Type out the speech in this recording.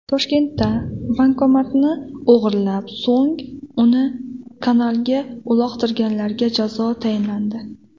Toshkentda bankomatni o‘g‘irlab, so‘ng uni kanalga uloqtirganlarga jazo tayinlandi.